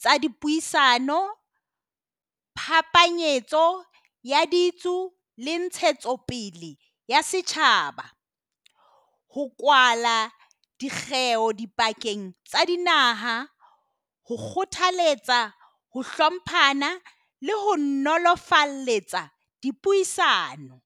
tsa di Puisano le Ntshetsopele ya Setjhaba ho kwala dikgeo dipakeng tsa dinaha ho kgothaletsa ho hlomphana le ho nolofaletsa dipuisano